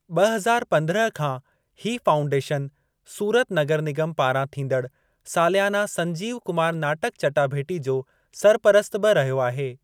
ब॒ हज़ार पंद्रहं खां हीउ फाउंडेशन सूरत नगर निगम पारां थींदड़ सालियाना संजीव कुमार नाटकु चटाभेटी जो सरपरस्तु बि रहियो आहे।